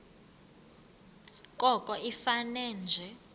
koko ifane nje